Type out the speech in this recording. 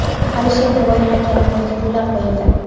Alisher Navoiy haykali poyiga gullar qo‘yildi.